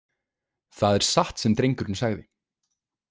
Það er satt sem drengurinn sagði.